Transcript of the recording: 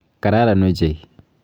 Kararan ochei.